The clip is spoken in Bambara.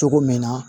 Cogo min na